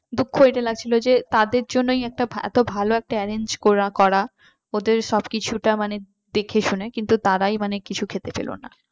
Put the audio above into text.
দুঃখ এটা লাগছিল যে তাদের জন্যই একটা এত ভালো একটা arrange করা ওদের সবকিছুটা মানে দেখে শুনে কিন্তু তারাই মানে কিছু খেতে পেলে না